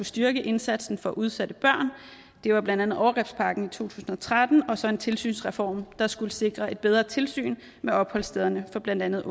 styrke indsatsen for udsatte børn det var blandt andet overgrebspakken i to tusind og tretten og så en tilsynsreform der skulle sikre et bedre tilsyn med opholdsstederne for blandt andet